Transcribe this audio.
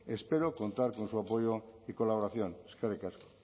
espero contar con su apoyo y colaboración eskerrik asko